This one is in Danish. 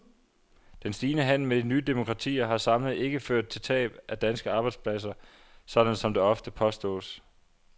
Den stigende handel med de nye demokratier har samlet ikke ført til tab af danske arbejdspladser, sådan som det ofte påstås.